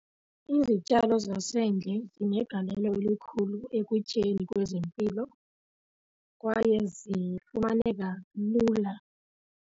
Izityalo zasendle zinegalelo elikhulu ekutyeni kwezempilo kwaye zifumaneka lula.